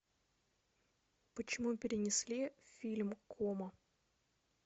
почему перенесли фильм кома